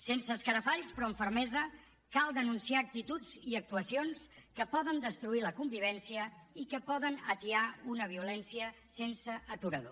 sense escarafalls però amb fermesa cal denunciar actituds i actuacions que poden destruir la convivència i que poden atiar una violència sense aturador